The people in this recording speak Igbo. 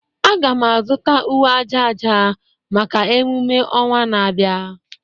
Aga m azụta uwe aja aja maka emume ọnwa na-abịa